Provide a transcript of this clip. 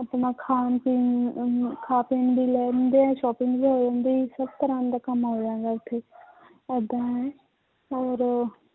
ਆਪਣਾ ਖਾਣ ਪੀਣ ਨੂੰ ਉਹਨੂੰ ਖਾ ਪੀਣ ਵੀ ਲੈ ਜਾਂਦੇ ਹੈ shopping ਵੀ ਹੋ ਜਾਂਦੀ ਹੈ ਸਭ ਤਰ੍ਹਾਂ ਦਾ ਕੰਮ ਹੋ ਜਾਂਦਾ ਹੈ ਉੱਥੇ ਏਦਾਂ ਹੈ ਔਰ